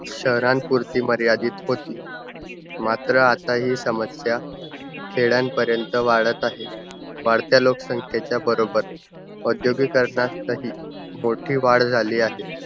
शहरांपुर्ती मर्यादित होती. मात्र आता हि समस्या खेड्यांपर्यंत वाढत आहे. वाढत्या लोकसंख्येच्या बरोबर औगिद्योकरणातही मोठी वाढ झाली आहे.